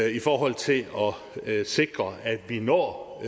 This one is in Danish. i forhold til at sikre at vi når